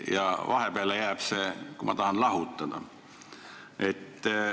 Ja vahepeale jääb see, kui ma tahan lahutada.